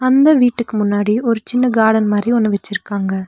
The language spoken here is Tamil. இந்த வீட்டுக்கு முன்னாடி ஒரு சின்ன கார்டன் மாரி ஒன்னு வெச்சிருக்காங்க.